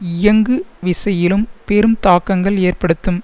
இயங்குவிசையிலும் பெரும் தாக்கங்கள்ஏற்படுத்தும்